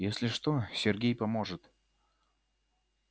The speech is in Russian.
если что сергей поможет